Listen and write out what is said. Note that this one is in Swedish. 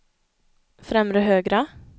främre högra